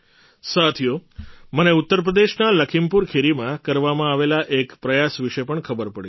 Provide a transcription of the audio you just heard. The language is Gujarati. સાથીઓ મને ઉત્તર પ્રદેશના લખીમપુર ખીરીમાં કરવામાં આવેલા એક પ્રયાસ વિશે પણ ખબર પડી છે